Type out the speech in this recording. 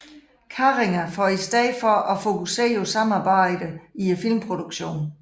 Carringer for i stedet for at fokusere på samarbejdet i filmproduktion